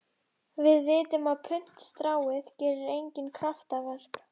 Við vitum að puntstráið gerir engin kraftaverk.